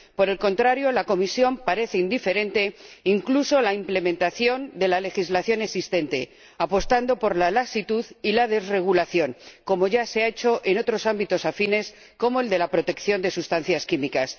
Por el contrario, la Comisión parece indiferente, incluso en la implementación de la legislación existente, apostando por la laxitud y la desregulación, como ya se ha hecho en otros ámbitos afines como el de la protección de sustancias químicas.